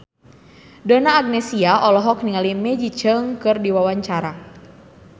Donna Agnesia olohok ningali Maggie Cheung keur diwawancara